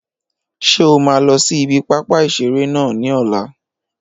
Ṣé o máa lọ sí ibi pápá ìseré náà ní ọ̀la?